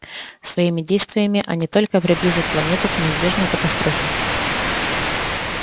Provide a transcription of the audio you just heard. своими действиями они только приблизят планету к неизбежной катастрофе